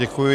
Děkuji.